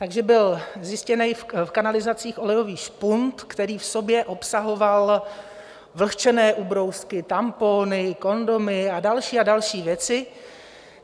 Takže byl zjištěn v kanalizacích olejový špunt, který v sobě obsahoval vlhčené ubrousky, tampony, kondomy a další a další věci.